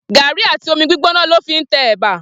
Gàrí àtí ómí gbigbónà lò fí n tè èbà